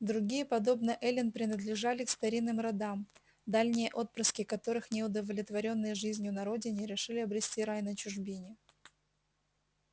другие подобно эллин принадлежали к старинным родам дальние отпрыски которых не удовлетворённые жизнью на родине решили обрести рай на чужбине